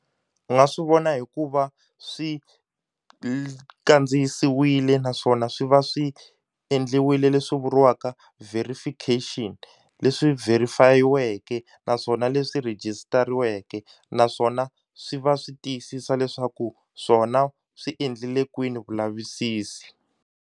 U nga swi vona hikuva swi kandziyisiwile naswona swi va swi endliwile leswi vuriwaka verification leswi verify-iweke naswona leswi register-iweke naswona swi va swi tiyisisa leswaku swona swi endlile kwini kulavisisi.